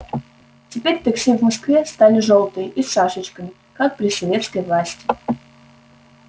теперь такси в москве стали жёлтые и с шашечками как при советской власти